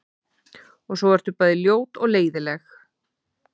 Og svo ertu bæði ljót og leiðinleg.